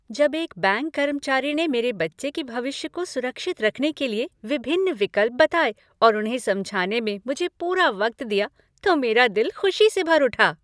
जब एक बैंक कर्मचारी ने मेरे बच्चे के भविष्य को सुरक्षित रखने के लिए विभिन्न विकल्प बताए और उन्हें समझाने में मुझे पूरा वक्त दिया तो मेरी दिल खुशी से भर उठा।